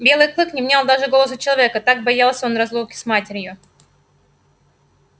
белый клык не внял даже голосу человека так боялся он разлуки с матерью